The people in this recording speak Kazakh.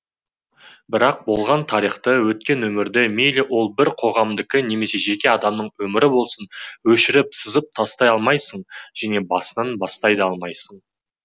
бірақ болған тарихты өткен өмірді мейлі ол бір қоғамдыкі немесе жеке адамның өмірі болсын өшіріп сызып тастай алмайсың және басынан бастай да алмайсың